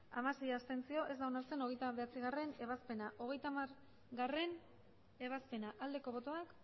abstentzioak hamasei ez da onartzen hogeita bederatzigarrena ebazpena hogeita hamargarrena ebazpena aldeko botoak